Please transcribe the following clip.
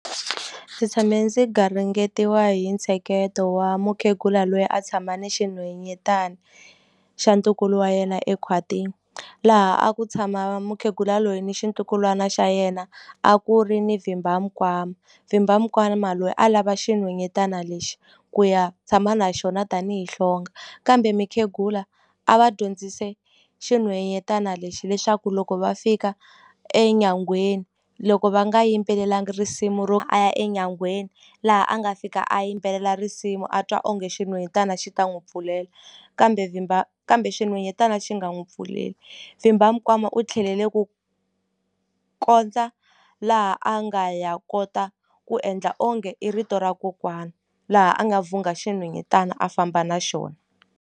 Ndzi tshame ndzi garingeriwa hi ntsheketo wa mukhegula lweyi a tshama ni xinhwanyatana xa ntukulu wa yena ekhwatini laha a ku tshama mukhegula loyi ni xintukulwana xa yena a ku ri ni vhimbamikwama vhimbamikwama loyi a lava xinhwanyatana lexi ku ya tshama na xona tanihi hlonga kambe mikhegula a va dyondzise xinhwanyatana lexi leswaku loko va fika enyangweni loko va nga yimbelelanga risimu ro a ya enyangweni laha a nga fika a yimbelela risimu a twa onge xinhwanyatana xi ta n'wi pfulela kambe kambe xinhwanyatana xi nga n'wi pfuleli vhimbamikwama u tlhelele ku kondza laha a nga ya kota ku endla onge i rito ra kokwana laha a nga vhungha xinhwanyetana a famba na xona.